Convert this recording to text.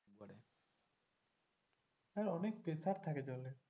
হ্যাঁ অনেক pressure থাকে জলের।